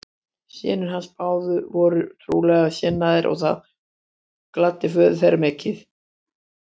Synir hans báðir voru trúarlega sinnaðir og það gladdi föður þeirra mikið.